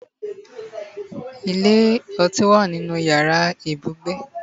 ile oti wa ninu iyara ibugbe